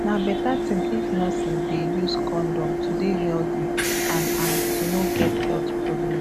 na better thing if nurses dey use condom to dey healthy and and to no get health problem